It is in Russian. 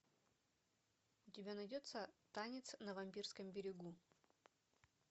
у тебя найдется танец на вампирском берегу